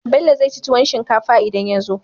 Bello zai ci tuwon shinkafa idan yazo